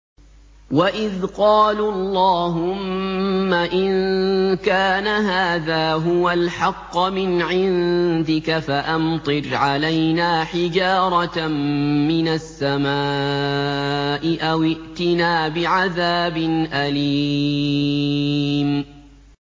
وَإِذْ قَالُوا اللَّهُمَّ إِن كَانَ هَٰذَا هُوَ الْحَقَّ مِنْ عِندِكَ فَأَمْطِرْ عَلَيْنَا حِجَارَةً مِّنَ السَّمَاءِ أَوِ ائْتِنَا بِعَذَابٍ أَلِيمٍ